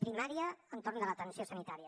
primària entorn de l’atenció sanitària